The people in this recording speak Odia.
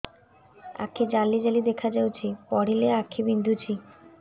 ଆଖି ଜାଲି ଜାଲି ଦେଖାଯାଉଛି ପଢିଲେ ଆଖି ବିନ୍ଧୁଛି